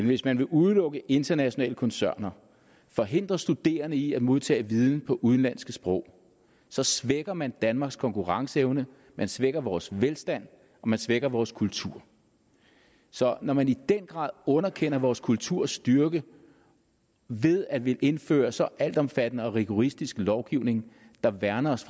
hvis man vil udelukke internationale koncerner forhindre studerende i at modtage viden på udenlandske sprog så svækker man danmarks konkurrenceevne man svækker vores velstand og man svækker vores kultur så når man i den grad underkender vores kulturs styrke ved at ville indføre en så altomfattende og rigoristisk lovgivning der værner os